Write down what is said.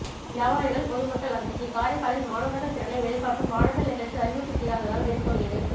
வியாபாரிகள் பொதுமக்கள் அதிர்ச்சி காரைக்காலில் மாணவர்கள் திறனை வெளிகாட்டும் வானவில் நிகழ்ச்சி அறிவிப்பு செய்யாததால் வெறிச்சோடியது